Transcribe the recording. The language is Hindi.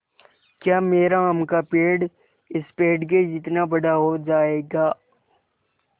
या मेरा आम का पेड़ इस पेड़ के जितना बड़ा हो जायेगा